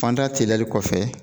Fanda teliyali kɔfɛ